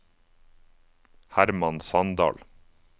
Herman Sandal